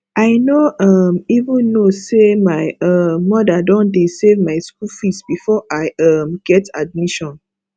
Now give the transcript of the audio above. i no um even know say my um mother don dey save my school fees before i um get admission